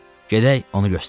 Gedək onu göstərim.